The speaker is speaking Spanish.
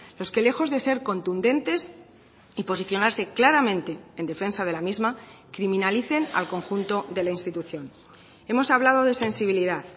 los que lejos de ser contundentes y posicionarse claramente en defensa de la misma criminalicen al conjunto de la institución hemos hablado de sensibilidad